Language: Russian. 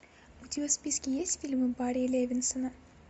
у тебя в списке есть фильмы барри левинсона